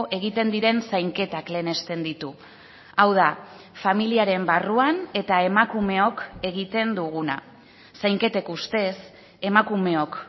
egiten diren zainketak lehenesten ditu hau da familiaren barruan eta emakumeok egiten duguna zainketek ustez emakumeok